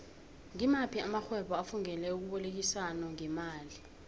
ngimaphi amaxhhwebo afungele ukubolekisano ngemali